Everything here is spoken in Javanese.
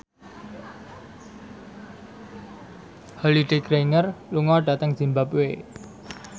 Holliday Grainger lunga dhateng zimbabwe